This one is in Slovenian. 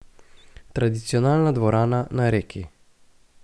Tradicionalna dvorana na Reki.